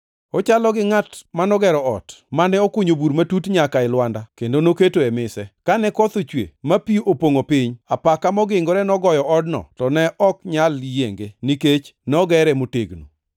Ochalo gi ngʼat manogero ot, mane okunyo bur matut nyaka e lwanda kendo noketoe mise, kane koth ochwe ma pi opongʼo piny, apaka mogingore nogoyo odno to ne ok onyal yienge, nikech nogere motegno.